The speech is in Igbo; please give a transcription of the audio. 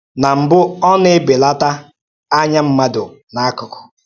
Ná mbụ̀, ọ̀ na-ebelátà ányá mmádụ n’ákụkụ́.